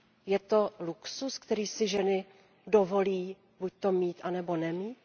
Je to luxus, který si ženy dovolí buď mít, anebo nemít?